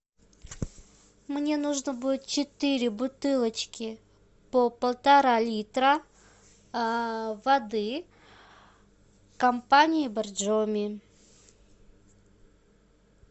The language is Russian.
мне нужно будет четыре бутылочки по полтора литра воды компании боржоми